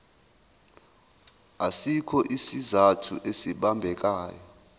asikho isizathu esibambekayo